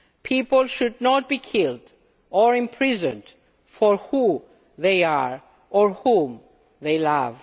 People should not be killed or imprisoned for who they are or whom they